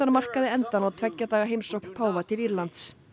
markaði endann á tveggja daga heimsókn páfa til Írlands